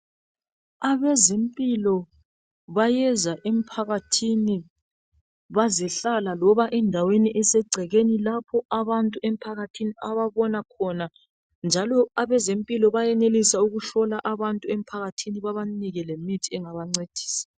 Abezempilo bayeza emphakathini bazehlala loba endaweni esegcekeni. Lapho abantu emphakathini ababona khona. Njalo abezempilo bayenelisa ukuhlola abantu emphakathini babanike lemithi engabancedisa.